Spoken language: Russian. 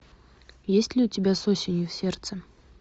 есть ли у тебя с осенью в сердце